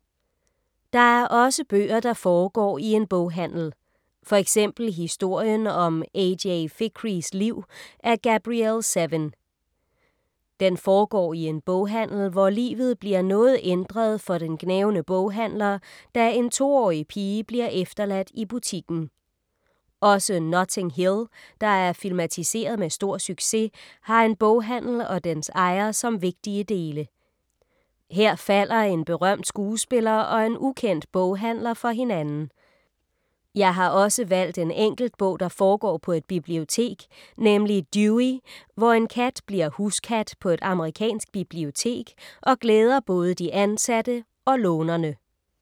Der er også bøger, der foregår i en boghandel. For eksempel Historien om A.J. Fikrys liv af Gabrielle Zevin. Den foregår i en boghandel, hvor livet bliver noget ændret for den gnavne boghandler, da en to-årig pige bliver efterladt i butikken. Også Notting Hill, der er filmatiseret med stor succes, har en boghandel og dens ejer som vigtige dele. Her falder en berømt skuespiller og en ukendt boghandler for hinanden. Jeg har også valgt en enkelt bog, der foregår på et bibliotek, nemlig Dewey, hvor en kat bliver huskat på et amerikansk bibliotek og glæder både de ansatte og lånerne.